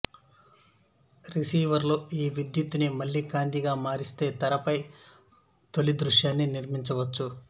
receiver లో ఈ విద్యుత్తుని మళ్ళీ కాంతిగా మారిస్తే తెరపై తొలిదృశ్యాన్ని నిర్మించవచ్చు